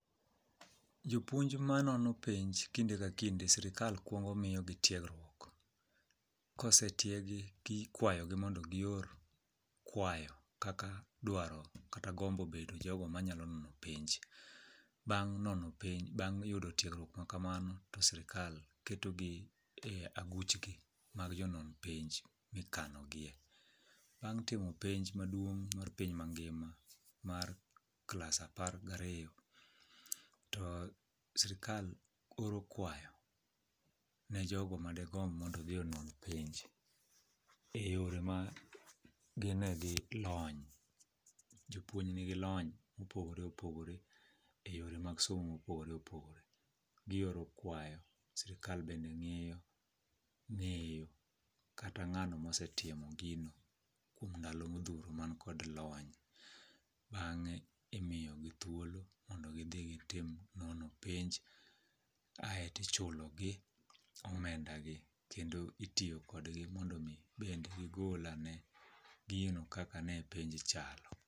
Jopuonj ma nono penj kinde ka kinde sirikal kuongo miyo gi tiegruok. Kosetiegi, gi ikwayogi mondo gior kwayo kaka dwaro kata bedo jogo ma nyalo nono penj. Bang' nono penj, yudo tiegruok ma kamano to sirikal keto gi e aguch gi mag jonon penj mikano gie. Bang' timo penj maduong' mar piny mangima mar klas apar gariyo, to sirikal oro kwayo ne jogo ma degombo mondo dhi onwang' penj. E yore ma gine gi lony, jopuony nigi lony mopogore opogore e yore mag somo mopogore opogore. Gioro kwayo, sirikal bende ng'iyo ng'eyo kata ng'ano mosetimo gino kuom ndalo modhuro man kod lony. Bang'e, imiyogi thuolo mondo gidhi gitim nono penj. Ae tichulo gi omenda gi, kendo itiyo kodgi mondo mi bende gigol ane gino kaka ne penj chalo.